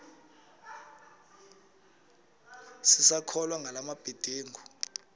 sisakholwa ngala mabedengu